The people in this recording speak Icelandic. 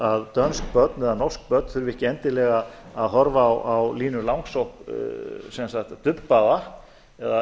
að dönsk börn eða norsk börn þurfi ekki endilega að horfa á línu langsokk dubbaða eða